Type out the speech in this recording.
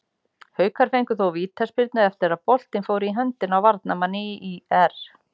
Haukar fengu þó vítaspyrnu eftir að boltinn fór í höndina á varnarmanni ÍR.